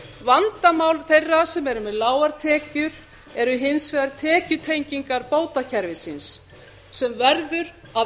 vandamál þeirra sem eru með lágar tekjur eru hins vegar tekjutengingar bótakerfisins sem verður að